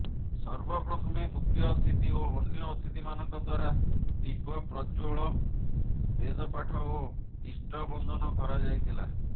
ସର୍ବପ୍ରଥମେ ମୁଖ୍ୟ ଅତିଥି ଓ ଅନ୍ୟ ଅତିଥିମାନଙ୍କ ଦ୍ୱାରା ଦୀପ ପ୍ରଜ୍ୱଳ ବେଦପାଠ ଓ ଇଷ୍ଟବନ୍ଦନ କରାଯାଇଥିଲା